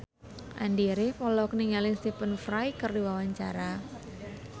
Andy rif olohok ningali Stephen Fry keur diwawancara